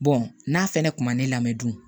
n'a fɛnɛ kun ma ne lamɛn dun